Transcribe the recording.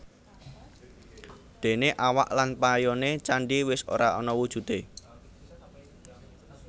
Déné awak lan payoné candhi wis ora ana wujudé